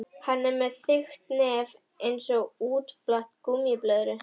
Hann er með þykkt nef einsog útflatta gúmmíblöðru.